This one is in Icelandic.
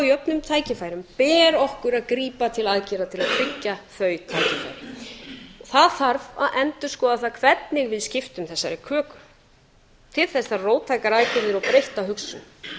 jöfnum tækifærum ber okkur að grípa til aðgerða til að tryggja þau tækifæri það þarf að endurskoða það hvernig við skiptum þessari köku til þess þarf róttækar aðgerðir og breytta hugsun